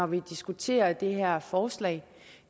vi diskuterer det her forslag